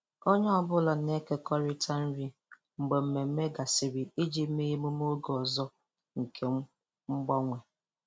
Onye ọ bụla na-ekekọrịta nri mgbe mmemme gasịrị iji mee emume oge ọzọ nke mgbanwe.